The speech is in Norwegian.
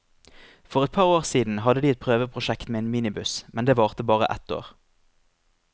For et par år siden hadde de et prøveprosjekt med en minibuss, men det varte bare ett år.